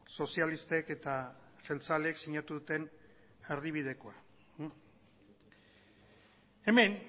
sozialistek eta jeltzaleek sinatu duten erdibidekoa hemen